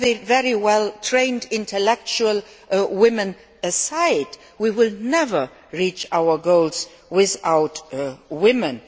very well trained intellectual women aside, we will never reach our goals without women.